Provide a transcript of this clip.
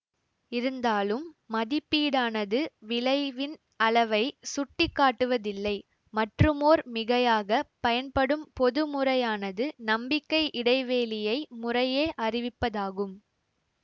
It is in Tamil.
இருந்தாலும் மதிப்பீடானது விளைவின் அளவை சுட்டிக்காட்டுவதில்லை மற்றுமோர் மிகையாக பயன்படும் பொது முறையானது நம்பிக்கை இடைவேளியை முறையே அறிவிப்பதாகும்